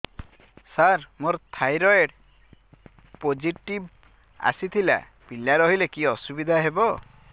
ସାର ମୋର thyroid positive ଆସିଥିଲା ପିଲା ରହିଲେ କି ଅସୁବିଧା ହେବ